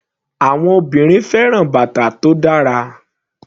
Àwọn obìnrin fẹ́ràn bàtà tó dára.